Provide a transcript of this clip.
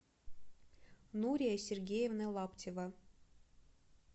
нурия сергеевна лаптева